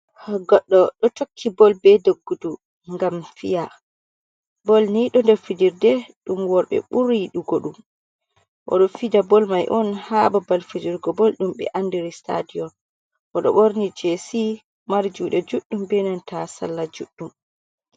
Goɗɗo ɗo tokki bol be doggudu ngam fiya, bol ni ɗo nder fijirde ɗum worɓe ɓuri yidugo dum, oɗo fija bol mai on ha babbal fijirgo bol, ɗum ɓe andiri stadiyon o ɗo borni jesi marde juɗe juɗɗum benanta salla juɗɗum.